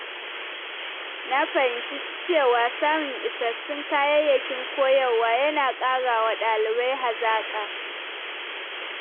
Na fahimci cewa samun isassun kayayyakin koyarwa yana ƙarawa ɗalibai hazaƙa.